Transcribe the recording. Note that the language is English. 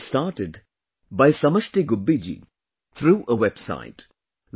It has been started by Samashti Gubbi ji through a website